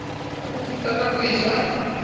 ha bofutsana bo e ja